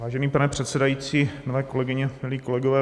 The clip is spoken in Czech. Vážený pane předsedající, milé kolegyně, milí kolegové.